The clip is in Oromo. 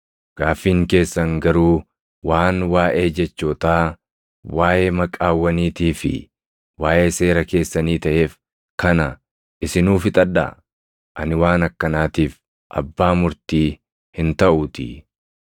Gaaffiin keessan garuu waan waaʼee jechootaa, waaʼee maqaawwaniitii fi waaʼee seera keessanii taʼeef kana isinuu fixadhaa; ani waan akkanaatiif abbaa murtii hin taʼuutii.”